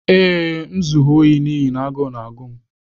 Ee, m zuru ohi n'ihi na agụụ na-agụ m.